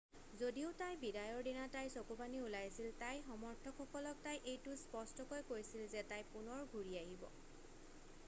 যদিও তাইৰ বিদায়ৰ দিনা তাইৰ চকুপানী ওলাইছিল তাইৰ সমৰ্থকসকলক তাই এইটো স্পষ্টকৈ কৈছিল যে তাই পুনৰ ঘূৰি আহিব